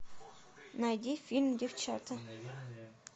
найди фильм девчата